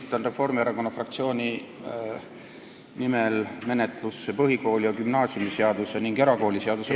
Esitan Reformierakonna fraktsiooni nimel menetlusse põhikooli- ja gümnaasiumiseaduse ning erakooliseaduse muutmise ...